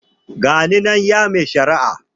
Ga ni nan ya mai shari'a.